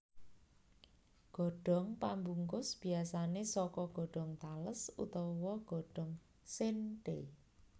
Godhong pambungkus biasané saka godhong tales utawa godhong séntheé